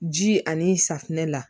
Ji ani safunɛ la